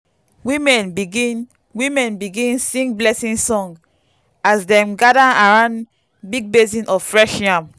women begin women begin sing blessing song as dem gather around big basin of fresh yam.